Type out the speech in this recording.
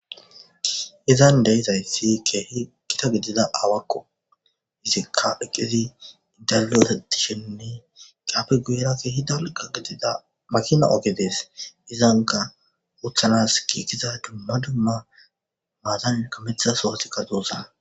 Izani de'izays Keehi Gita gidida aawako, izika eqidi balgotishenne hegappe guyera Keehi dalga gidida makina Oge Des, izanka utanasi giigida dumma dumma matani kametida sohotika dosona .